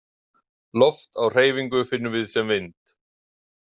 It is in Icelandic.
Loft á hreyfingu finnum við sem vind.